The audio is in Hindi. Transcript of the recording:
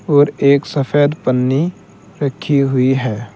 और एक सफेद पन्नी रखी हुई है।